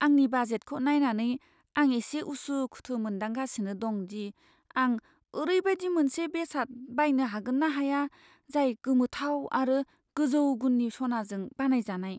आंनि बाजेटखौ नायनानै, आं एसे उसुखुथु मोनदांगासिनो दं दि आं ओरैबायदि मोनसे बेसाद बायनो हागोन ना हाया जाय गोमोथाव आरो गोजौ गुननि सनाजों बानायजानाय।